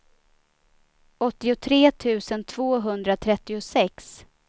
åttiotre tusen tvåhundratrettiosex